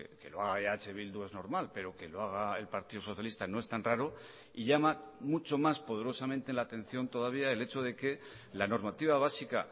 que lo haga eh bildu es normal pero que lo haga el partido socialista no es tan raro y llama mucho más poderosamente la atención todavía el hecho de que la normativa básica